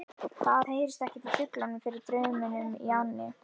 Það heyrðist ekkert í fuglunum fyrir drununum í ánni.